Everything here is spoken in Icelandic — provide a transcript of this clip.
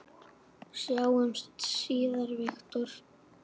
Sjáumst síðar, Viktor.